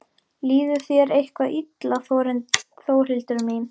Líður þér eitthvað illa Þórhildur mín?